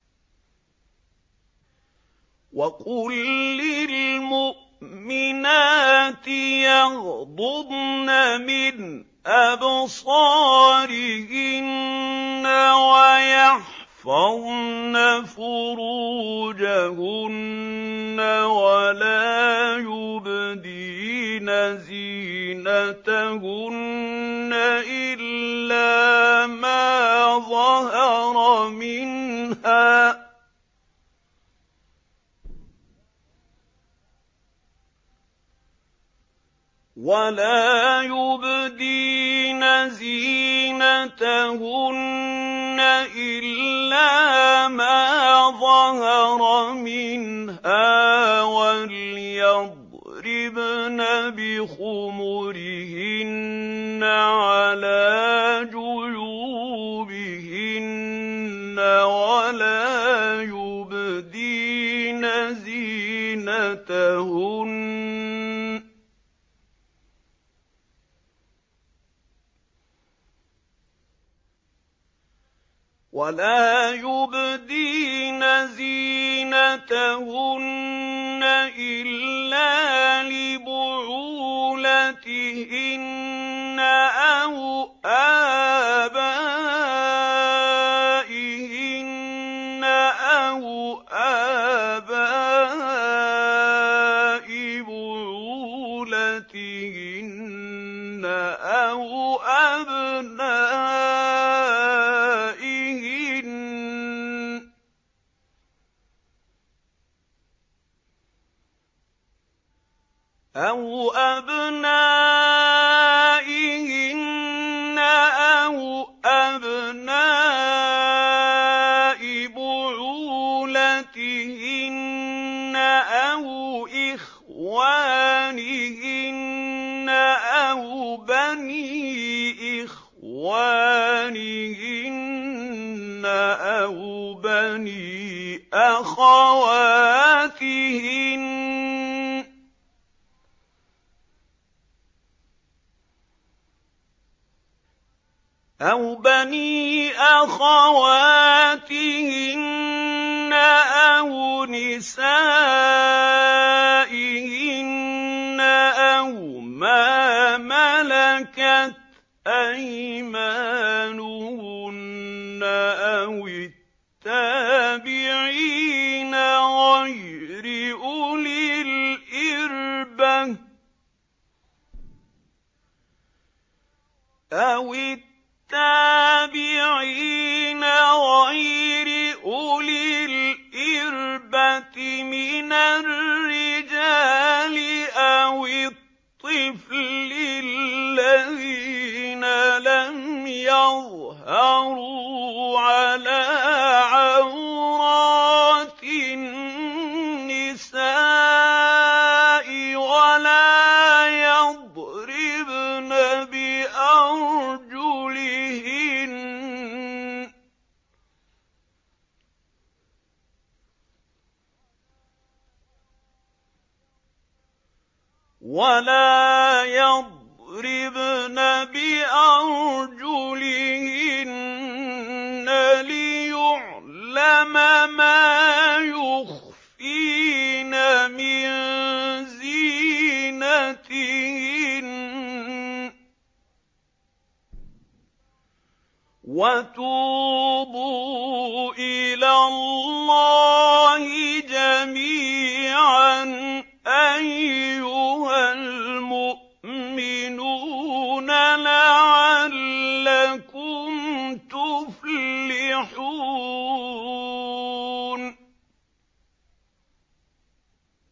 وَقُل لِّلْمُؤْمِنَاتِ يَغْضُضْنَ مِنْ أَبْصَارِهِنَّ وَيَحْفَظْنَ فُرُوجَهُنَّ وَلَا يُبْدِينَ زِينَتَهُنَّ إِلَّا مَا ظَهَرَ مِنْهَا ۖ وَلْيَضْرِبْنَ بِخُمُرِهِنَّ عَلَىٰ جُيُوبِهِنَّ ۖ وَلَا يُبْدِينَ زِينَتَهُنَّ إِلَّا لِبُعُولَتِهِنَّ أَوْ آبَائِهِنَّ أَوْ آبَاءِ بُعُولَتِهِنَّ أَوْ أَبْنَائِهِنَّ أَوْ أَبْنَاءِ بُعُولَتِهِنَّ أَوْ إِخْوَانِهِنَّ أَوْ بَنِي إِخْوَانِهِنَّ أَوْ بَنِي أَخَوَاتِهِنَّ أَوْ نِسَائِهِنَّ أَوْ مَا مَلَكَتْ أَيْمَانُهُنَّ أَوِ التَّابِعِينَ غَيْرِ أُولِي الْإِرْبَةِ مِنَ الرِّجَالِ أَوِ الطِّفْلِ الَّذِينَ لَمْ يَظْهَرُوا عَلَىٰ عَوْرَاتِ النِّسَاءِ ۖ وَلَا يَضْرِبْنَ بِأَرْجُلِهِنَّ لِيُعْلَمَ مَا يُخْفِينَ مِن زِينَتِهِنَّ ۚ وَتُوبُوا إِلَى اللَّهِ جَمِيعًا أَيُّهَ الْمُؤْمِنُونَ لَعَلَّكُمْ تُفْلِحُونَ